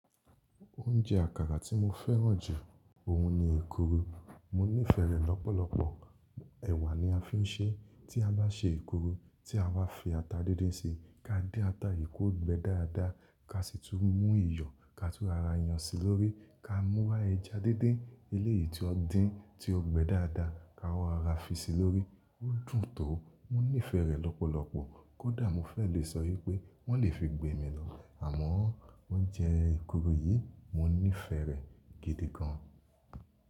Oúnjẹ àkàrà tí mo fẹ́ràn jù, òun ni èkuru. Mo nífẹ̀ẹ́ rẹ̀ lọ́pọ̀lọpọ̀. Ẹ̀wà ni a fi ń ṣe tí a bá ṣe èkuru. Tí a bá fi ata dídín ṣi, ká dín ata yìí kó gbe dáadáa, ká sì tún mú iyọ̀ ká tún rọra yan sí lórí. Ka mú wá ẹja díndín eleyi ti wọn dín tí ó gbẹ dáadáa, ká wá rọra fi sí i lórí. Ó dùn tó. Mo nífẹ̀ẹ́ rẹ̀ lọ́pọ̀lọpọ̀. Kódà mo fẹ́ lè sọ wipé wọ́n lè fi gbe mi lọ. Àmọ́ oúnjẹ èkuru yìí, mo nífẹ̀ẹ́ rẹ̀ gidi gan.